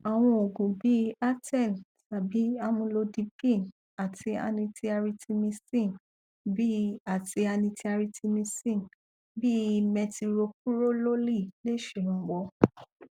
àwọn òògùn bí i aten tàbí amulodipíìnì àti anitiaritimíìsì bí àti anitiaritimíìsì bí i metiropurolóòlì lẹ ṣèrànwọ